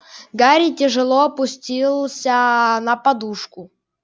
гарри тяжело опустился на подушку